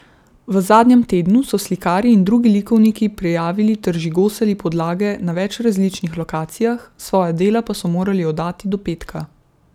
V zadnjem tednu so slikarji in drugi likovniki prijavili ter žigosali podlage na več različnih lokacijah, svoja dela pa so morali oddati do petka.